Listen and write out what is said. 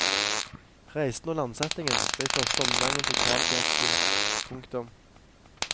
Reisen og landsettingen ble i første omgang en total fiasko. punktum